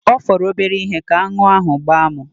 Ọ fọrọ obere ihe ka aṅụ ahụ gbaa mụ.